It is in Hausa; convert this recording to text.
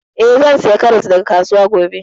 Eh, zan saya karas daga kasuwa gobe